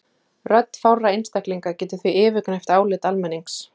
Rödd fárra einstaklinga getur því yfirgnæft álit almennings.